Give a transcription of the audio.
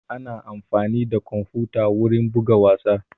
Ana amfani da kwamfuta wurin buga wasa